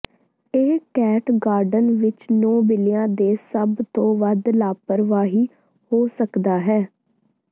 ਇਹ cat garden ਵਿੱਚ ਨੌਂ ਬਿੱਲੀਆਂ ਦੇ ਸਭ ਤੋਂ ਵੱਧ ਲਾਪਰਵਾਹੀ ਹੋ ਸਕਦਾ ਹੈ